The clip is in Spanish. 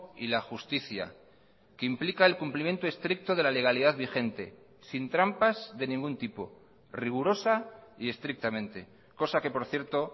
y la justicia que implica el cumplimiento estricto de la legalidad vigente sin trampas de ningún tipo rigurosa y estrictamente cosa que por cierto